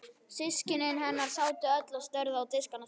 Systkini hennar sátu öll og störðu á diskana sína.